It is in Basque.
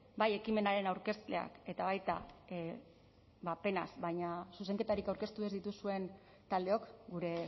bai ekimenaren aurkezleak eta baita ba penaz baina zuzenketarik aurkeztu ez dituzuen taldeok gure